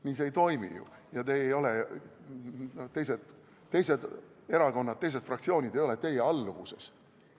Nii see ei toimi ju ja teised erakonnad, teised fraktsioonid ei ole teie alluvuses.